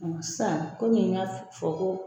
Sisan kɔmi n y'a fɔ ko